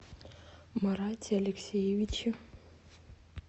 марате алексеевиче